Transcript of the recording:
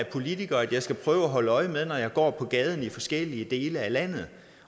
politiker at jeg skal prøve at holde øje med når jeg går på gaden i forskellige dele af landet